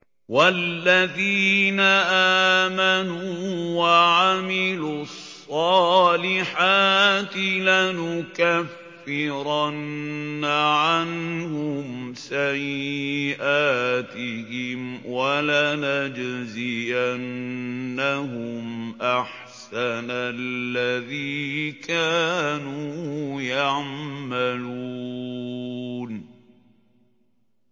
وَالَّذِينَ آمَنُوا وَعَمِلُوا الصَّالِحَاتِ لَنُكَفِّرَنَّ عَنْهُمْ سَيِّئَاتِهِمْ وَلَنَجْزِيَنَّهُمْ أَحْسَنَ الَّذِي كَانُوا يَعْمَلُونَ